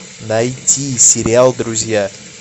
найти сериал друзья